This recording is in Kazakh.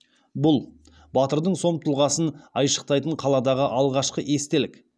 бұл батырдың сом тұлғасын айшықтайтын қаладағы алғашқы естелік